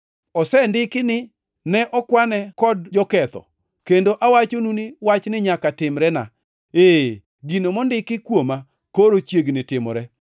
Osendiki ni: ‘Ne okwane kod joketho’ + 22:37 \+xt Isa 53:12\+xt* ; kendo awachonu ni wachni nyaka timrena. Ee, gino mondik kuoma koro chiegni timore.”